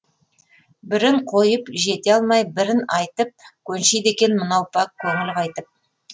бірін қойып жете алмай бірін айтып көншиді екен мынау пәк көңіл қайтіп